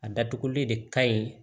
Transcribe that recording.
A datuguli de ka ɲi